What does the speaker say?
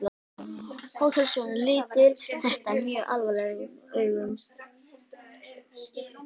Hótelstjórinn lítur þetta mjög alvarlegum augum.